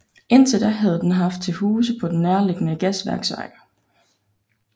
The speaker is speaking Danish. Indtil da havde den haft til huse på den nærliggende Gasværksvej